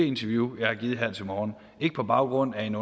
interview jeg har givet her til morgen ikke på baggrund af en